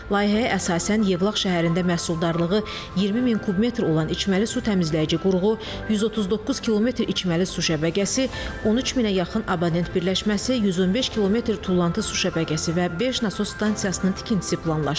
Layihəyə əsasən Yevlax şəhərində məhsuldarlığı 20000 kub metr olan içməli su təmizləyici qurğu, 139 kilometr içməli su şəbəkəsi, 13000-ə yaxın abonent birləşməsi, 115 kilometr tullantı su şəbəkəsi və beş nasos stansiyasının tikintisi planlaşdırılır.